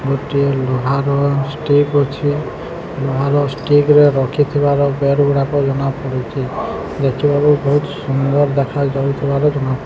ଗୋଟିଏ ଲୁହାର ଷ୍ଟିକ ଅଛି। ଲୁହାର ଷ୍ଟିକ ରଖିଥିବାର ବେଡ୍ ଗୁଡ଼ାକ ଜଣାପଡୁଛି। ଦେଖିବାକୁ ବହୁତ ସୁନ୍ଦର ଦେଖାଯାଉଥିବାର ଜଣା --